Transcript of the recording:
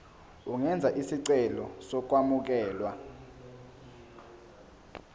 ungenza isicelo sokwamukelwa